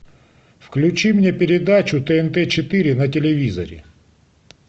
включи мне передачу тнт четыре на телевизоре